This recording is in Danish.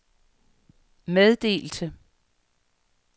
meddelte